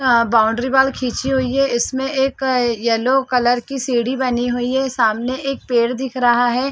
अ boundary wall खींची हुई है इसमें एक अ येलो कलर की सीढ़ी बनी हुई है सामने एक पेड़ दिख रहा है।